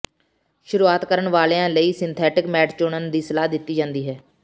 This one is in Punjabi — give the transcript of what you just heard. ਸ਼ੁਰੂਆਤ ਕਰਨ ਵਾਲਿਆਂ ਲਈ ਸਿੰਥੈਟਿਕ ਮੈਟ ਚੁਣਨ ਦੀ ਸਲਾਹ ਦਿੱਤੀ ਜਾਂਦੀ ਹੈ